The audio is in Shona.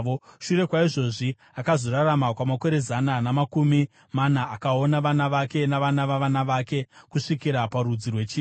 Shure kwaizvozvi, akazorarama makore zana namakumi mana; akaona vana vake navana vavana vake kusvikira parudzi rwechina.